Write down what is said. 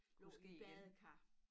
Lå i et badekar